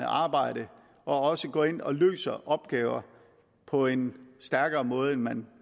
arbejde og også går ind og løser opgaver på en stærkere måde end man